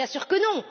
Bien sûr que non!